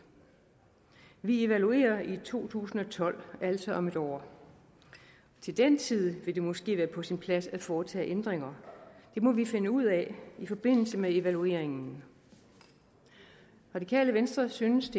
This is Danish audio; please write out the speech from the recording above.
vi evaluerer det i to tusind og tolv altså om et år til den tid vil det måske være på sin plads at foretage ændringer det må vi finde ud af i forbindelse med evalueringen radikale venstre synes